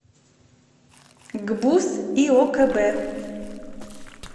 гбуз иокб